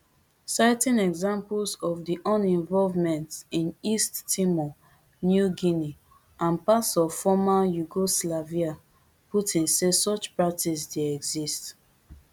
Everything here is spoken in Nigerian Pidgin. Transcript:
citing examples of di un involvement in east timor new guinea and parts of former yugoslavia putin say such practice dey exist